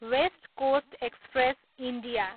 West coast express, India